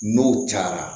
N'o cayara